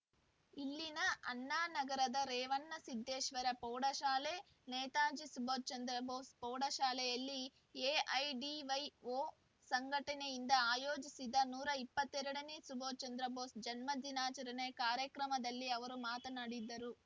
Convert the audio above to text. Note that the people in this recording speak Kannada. ಇಲ್ಲಿನ ಅಣ್ಣಾನಗರದ ರೇವಣಸಿದ್ದೇಶ್ವರ ಪೌಶಾಲೆ ನೇತಾಜಿ ಸುಭಾಷ್‌ಚಂದ್ರಭೋಸ್‌ ಪೌಢಶಾಲೆಯಲ್ಲಿ ಎಐಡಿವೈಓ ಸಂಘಟನೆಯಿಂದ ಆಯೋಜಿಸಿದ ನೂರ ಇಪ್ಪತ್ತ್ ಎರಡ ನೇ ಸುಭಾಷ್‌ಚಂದ್ರ ಭೋಸ್‌ ಜನ್ಮದಿನಾಚರಣೆ ಕಾರ್ಯಕ್ರಮದಲ್ಲಿ ಅವರು ಮಾತನಾಡಿದರು